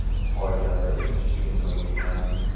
Oilasi tinchligini buzgan.